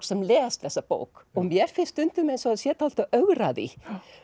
sem les þessa bók og mér finnst stundum eins og hann sé dálítið að ögra því